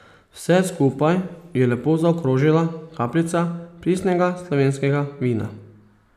Vse skupaj je lepo zaokrožila kapljica pristnega slovenskega vina.